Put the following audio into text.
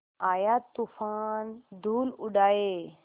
आया तूफ़ान धूल उड़ाए